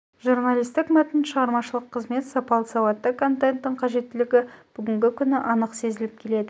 журналистік мәтін шығармашылық қызмет сапалы сауатты контенттің қажеттілігі бүгінгі күні анық сезіліп келеді